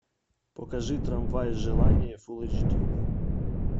покажи трамвай желания фул эйч ди